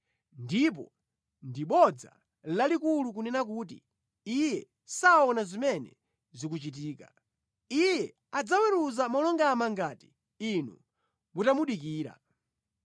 Ndipo ndi bodza lalikulu kunena kuti Iye saona zimene zikuchitika. Iye adzaweruza molungama ngati inu mutamudikira